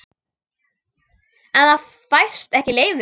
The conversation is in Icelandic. En það fæst ekki leyfi.